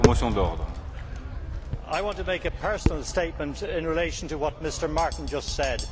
Mr President, I want to make a personal statement in relation to what Mr Martin just said.